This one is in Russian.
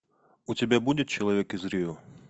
у тебя будет человек из рио